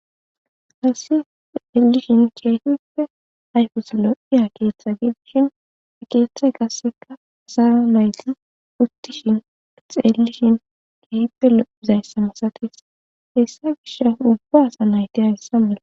hassi elishin keehippe ayfes lo7iya keeththe geeishin e keeththay qasseka zaran layti uttishin xeellishin keehippe lo7izayssamisates hessa gish ubbaasa nayte agissa mele